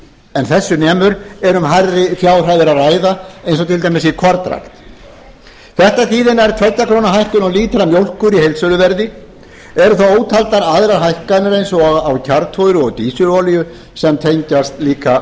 en þessu nemur er um hærri fjárhæðir að ræða eins og til dæmis í kornrækt þetta þýðir nærri tveggja krónu hækkun á lítra mjólkur í heildsöluverði eru þá ótaldar aðrar hækkanir eins og á kjarnfóðri og dísilolíu sem tengjast líka